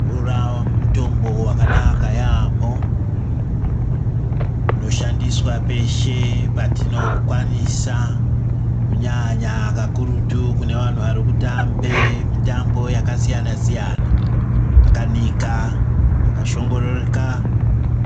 Mvura mutombo vakanaka yaambo inoshandoswa peshe patinpokwanisa kunyanya kakurutu kune vantu varikutambe mitambo yakasiyana-siyana. Akanika akashongooreka